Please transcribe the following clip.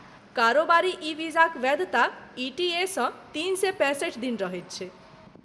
कारोबारी ई वीजाक वैधता ई.टी.ए.सँ तीन सए पैंसठि दिन रहैत छै।